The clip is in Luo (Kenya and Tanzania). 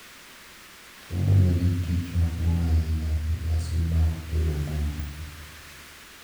Chiemo nigi tich maduong' ahinya e nyasi mag tero buru,